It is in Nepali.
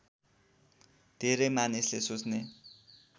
धेरै मानिसले सोच्ने